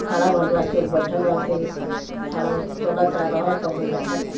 खाड़ा भइल बा केहू बइठल बा केहू ता खाड़ा चलता रहता ओमें देखता।